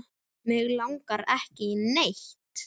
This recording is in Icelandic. Mig langar ekki í neitt.